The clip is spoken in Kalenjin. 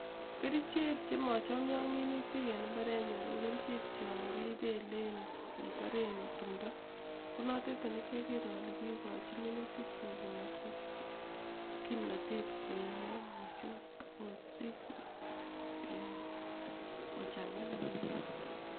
Kerichek chema chomia ak minutik en imbarenyuun ko kerichek chakipelen, ketaren tumdo konotet ne kiakere ale kiikochi minutikchu komatkosich kimnatet koiiyo mising akosich ee kochang'aa en imbaar.